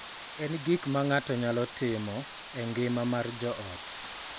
E gik ma ng�ato nyalo timo e ngima mar joot,